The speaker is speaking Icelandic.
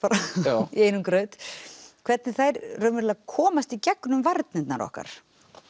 í einum graut hvernig þær raunverulega komast í gegnum varnirnar okkar